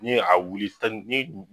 N'i ye a wuli